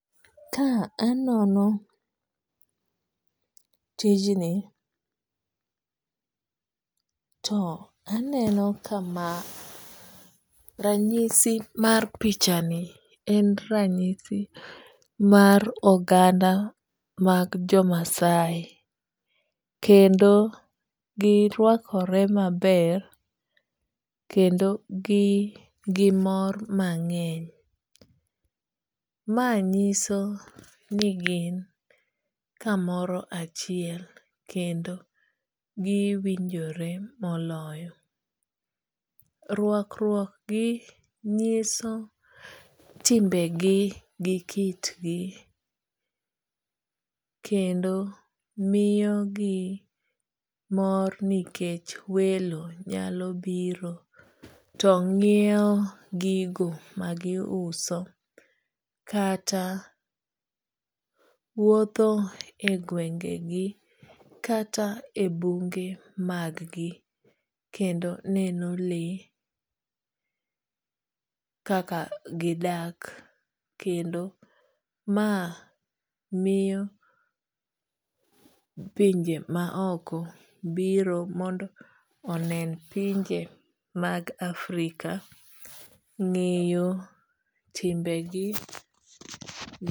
Ka anono tijni to aneno ka ma ranyisi mar pichani en ranyisi mar oganda mag jo Maasai kendo girwakore maber kendo gimor mang'eny. Ma nyiso ni gin kamoro achiel kendo giwinjore moloyo. Rwakruok gi nyiso timbegi gi kitgi kendo miyogi mor nikech welo nyalo biro to nyiewo gigo magiuso kata wuotho e gwenge gi kata e bunge mag gi kendo neno lee kaka gidak kendo ma miyo pinje maoko biro mondo onen pinje mag Africa, ng'eyo timbegi,